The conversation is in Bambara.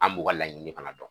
An' b'u ka laɲini fana dɔn.